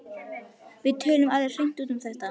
Við töluðum alveg hreint út um þetta.